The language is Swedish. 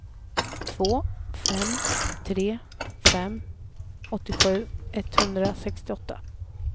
två fem tre fem åttiosju etthundrasextioåtta